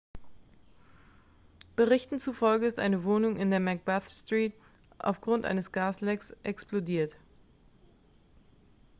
berichten zufolge ist eine wohnung in der macbeth street aufgrund eines gaslecks explodiert